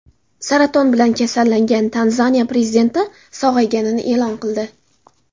Saraton bilan kasallangan Tanzaniya prezidenti sog‘ayganini e’lon qildi.